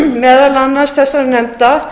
meðal annars þessara nefnda